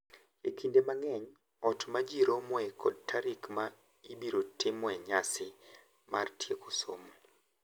Kinde mang’eny, ot ma ji romoe kod tarik ma ibiro timoe nyasi mar tieko somo,